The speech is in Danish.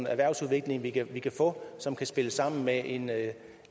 erhvervsudvikling vi kan vi kan få som kan spille sammen med en med